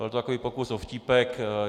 Byl to takový pokus o vtípek.